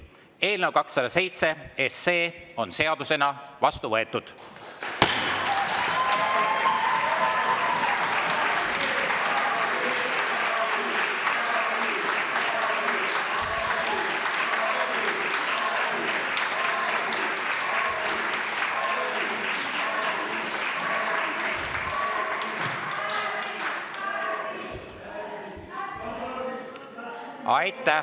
Eelnõu 207 on seadusena vastu võetud.